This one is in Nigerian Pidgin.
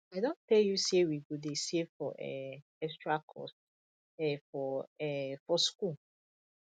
i don tell you sey we go dey save for um extra cost um for um for skool